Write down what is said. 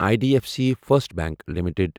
I D F C First Bank limited